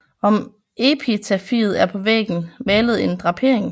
Om epitafiet er på væggen malet en drapering